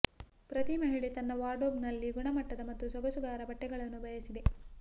ಪ್ರತಿ ಮಹಿಳೆ ತನ್ನ ವಾರ್ಡ್ರೋಬ್ನಲ್ಲಿ ಗುಣಮಟ್ಟದ ಮತ್ತು ಸೊಗಸುಗಾರ ಬಟ್ಟೆಗಳನ್ನು ಬಯಸಿದೆ